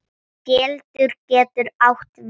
Keldur getur átt við